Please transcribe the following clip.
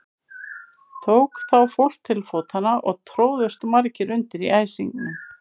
Tók þá fólk til fótanna og tróðust margir undir í æsingnum.